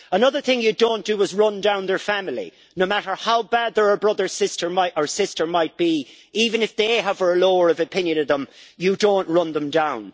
Another thing you don't do is run down their family, no matter how bad their brother or sister might be, even if they have a lower of opinion of them, you don't run them down!